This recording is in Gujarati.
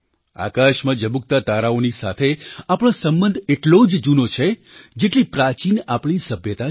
આકાશમાં ઝબૂકતા તારાઓની સાથે આપણો સંબંધ એટલો જ જૂનો છે જેટલી પ્રાચીન આપણી સભ્યતા છે